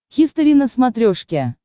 хистори на смотрешке